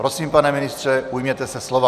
Prosím, pane ministře, ujměte se slova.